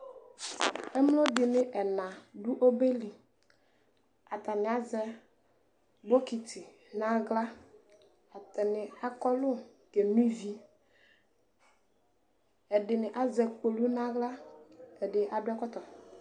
Ɛmloɖini ana aɖʋ ɔbɛli, atani azɛ bokiti n'ahla, atani akɔlu keno Ivieɛɖini azɛ kpolu n'ahla, ɛɖi aɖʋ ɛkɔtɔ